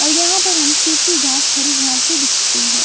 और यहाँ पर हम सूखी घाँस हरी घाँस भी दिख रही --